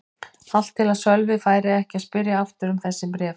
Allt til að Sölvi færi ekki að spyrja aftur um þessi bréf.